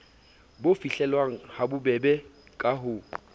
bo fihlellwang habobebe ka ho